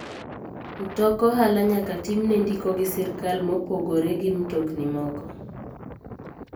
Mtok ohala nyaka time ndiko gi sirkal mopogire gi mtokni moko.